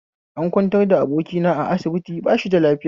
An kwantar da abokina a asibiti bashida lafiya